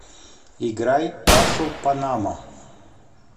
играй пашу панамо